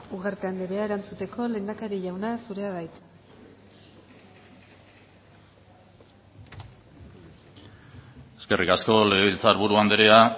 ugarte andrea erantzuteko lehendakari jauna zurea da hitza eskerrik asko legebiltzar buru andrea